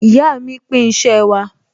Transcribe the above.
Ìyá mi pín iṣẹ́ wa